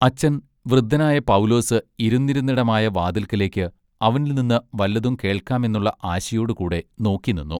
അച്ചൻ വൃദ്ധനായ പൗലോസ് ഇരുന്നിരുന്നെടമായവാതില്ക്കലേക്ക് അവനിൽനിന്ന് വല്ലതും കേൾക്കാമെന്നുള്ള ആശയൊടു കൂടെ നോക്കിനിന്നു.